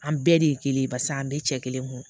An bɛɛ de ye kelen ye barisa an bɛɛ cɛ kelen kun